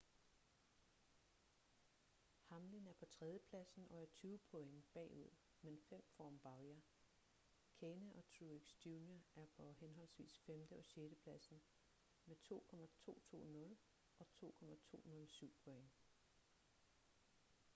hamlin er på tredjepladsen og er tyve point bagud men fem foran bowyer kahne og truex jr er på henholdsvis femte- og sjettepladsen med 2.220 og 2.207 point